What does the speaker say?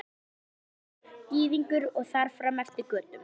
Úkraínumaður, Gyðingur og þar fram eftir götum.